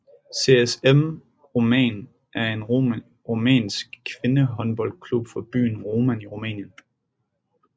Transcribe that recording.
CSM Roman er en rumænsk kvindehåndboldklub fra byen Roman i Rumænien